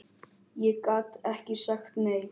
Ég gat ekki sagt nei.